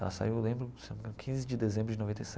Ela saiu, eu lembro se não me engano quinze de dezembro de noventa e